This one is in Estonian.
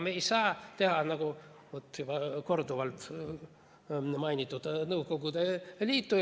Me ei saa teha nii, nagu tehti juba korduvalt mainitud Nõukogude Liidus.